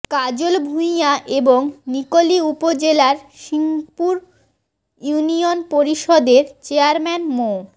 কাজল ভূঁইয়া এবং নিকলী উপজেলার সিংপুর ইউনিয়ন পরিষদের চেয়ারম্যান মো